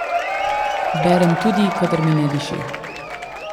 Berem tudi, kadar mi ne diši.